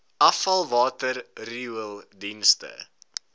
afvalwater riool dienste